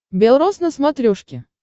бел рос на смотрешке